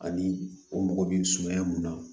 Ani o mɔgɔ bi sumaya mun na